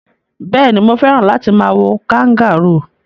Béèni, mo fẹ́ràn láti ma wo kangaroo